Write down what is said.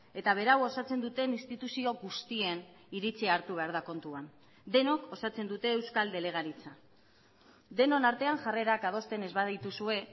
eta berau osatzen duten instituzio guztien iritzia hartu behar da kontuan denok osatzen dute euskal delegaritza denon artean jarrerak adosten ez badituzue